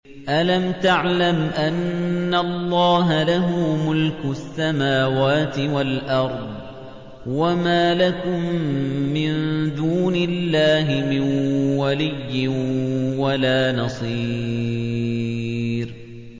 أَلَمْ تَعْلَمْ أَنَّ اللَّهَ لَهُ مُلْكُ السَّمَاوَاتِ وَالْأَرْضِ ۗ وَمَا لَكُم مِّن دُونِ اللَّهِ مِن وَلِيٍّ وَلَا نَصِيرٍ